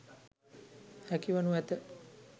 හැකි වනු ඇත.